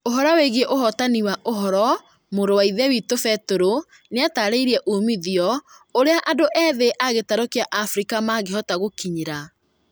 Ũhoro wĩgie ũhotani wa ũhoro mũrawaithe witũ Peter nĩatarĩirie umithio ũrĩa andũ ethĩ agĩtaro kĩa Afrika mangĩhota gũkinyira